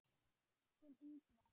Þinn, Ingvar.